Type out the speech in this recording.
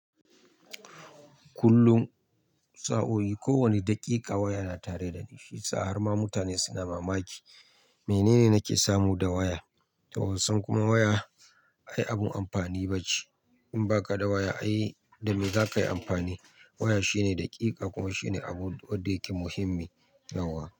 Kullum sa'o'i, kowane daƙiƙa waya na tare da ni. Shi yasa harma mutane suna mamaki. Menene nake samu da waya? To wasan kuma waya, ai abun amfani ba ce. In ba ka da waya, ai da me za ka yi amfani? Waya shine daƙiƙa kuma shine abun wadda yake muhimmi yauwa.